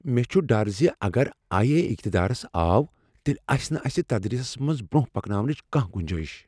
مےٚ چھ ڈر زِ اگر آیی اے اقتدارس آو تیلہٕ آسہ نہٕ اسہ تدریسس منٛز برٛۄنٛہہ پکناونچ کانہہ گنجایش